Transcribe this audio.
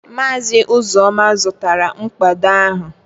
Maazị Uzoma zụtara mkpado ahụ